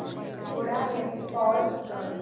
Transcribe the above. थोडा वेळ पॉझ कर